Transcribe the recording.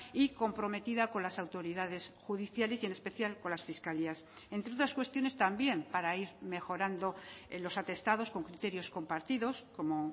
y comprometida con las autoridades judiciales y en especial con las fiscalías entre otras cuestiones también para ir mejorando en los atestados con criterios compartidos como